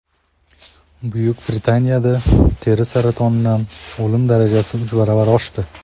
Buyuk Britaniyada teri saratonidan o‘lim darajasi uch baravar oshdi.